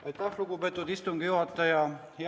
Aitäh, lugupeetud istungi juhataja!